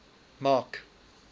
mark